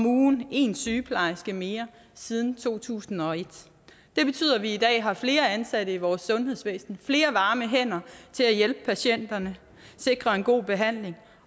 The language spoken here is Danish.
ugen en sygeplejerske mere siden to tusind og et det betyder at vi i dag har flere ansatte i vores sundhedsvæsen flere varme hænder til at hjælpe patienterne sikre en god behandling